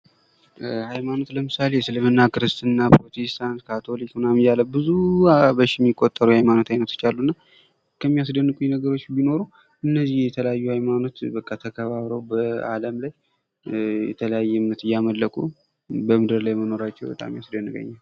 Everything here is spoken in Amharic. ሀይማኖት ለምሳሌ እስልምና፣ ክርስትና፣ ፕሮቴስታን፣ ካቶሊክ ምናምን እያለ ብዙ በሺ የሚቆጠሩ የሀይማኖት አይነቶች አሉ። እና ከሚያስደንቁኝ ነገሮች ቢኖሩ እነዚህ የተለያየ ሀይማኖት በቃ ተከባብረዉ በአለም ላይ የተለያየ እምነት እያመለኩ በምድር ላይ መንራቸዉ በጣም ያስደንቀኛል።